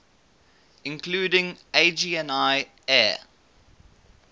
including agni air